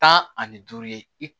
Tan ani duuru ye i